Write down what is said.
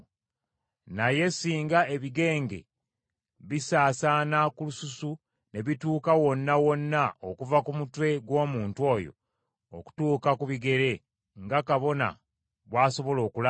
“Naye singa ebigenge bisaasaana ku lususu ne bituuka wonna wonna okuva ku mutwe gw’omuntu oyo okutuuka ku bigere nga kabona bw’asobola okulaba,